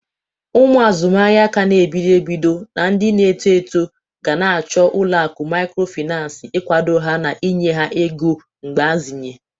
Ụmụ azụmahịa ka n'ebido ebido na ndị na-eto eto gana achọ ụlọakụ mikrofinas igwado ha na inye ha ego mgbazinye.